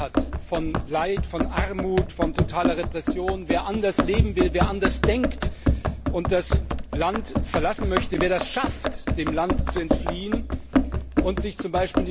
Wer genug hat von Leid, von Armut, von totaler Repression, wer anders leben will, wer anders denkt und das Land verlassen möchte, wer es schafft, dem Land zu entfliehen und sich z.